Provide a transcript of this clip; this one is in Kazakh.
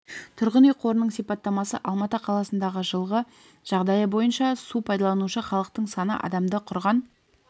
тұрғын үй қорының сипаттамасы алматы қаласында жылғы жағдайы бойынша су пайдаланушы халықтың саны адамды құрған